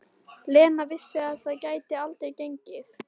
Lena vissi að það gæti aldrei gengið.